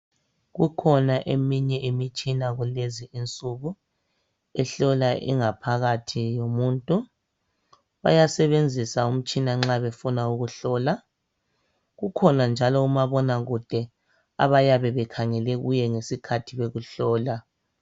Kukhona eminye imitshina kulezi insuku ehlola ingaphakathi yomuntu. Bayasebenzisa umtshina nxa befuna ukuhlola. Kukhona njalo omabonakude abayabe bekhangele kuye ngesikhathi bekuhlola.